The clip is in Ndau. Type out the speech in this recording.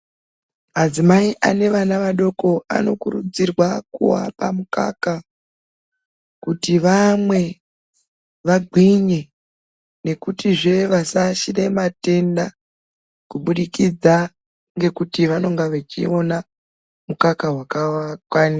Madzimai ane vana vadoko anokurudzirwa kuvapa mukaka kuti vamwe vagwinye. Nekutizve vasaashire matenda kubudikidza ngekuti vanonga vachiona mukaka vakawakwanira.